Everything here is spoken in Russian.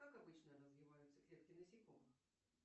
как обычно развиваются клетки насекомых